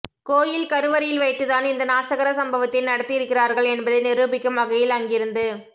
கோயில் கருவறையில் வைத்து தான் இந்த நாசகர சம்பவத்தை நடத்தியிருக்கிறார்கள் என்பதை நிரூபிக்கும் வகையில் அங்கிருந்து